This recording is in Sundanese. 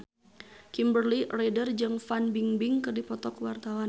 Kimberly Ryder jeung Fan Bingbing keur dipoto ku wartawan